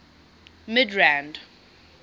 midrand